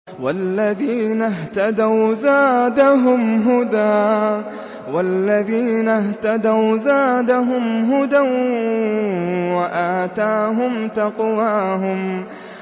وَالَّذِينَ اهْتَدَوْا زَادَهُمْ هُدًى وَآتَاهُمْ تَقْوَاهُمْ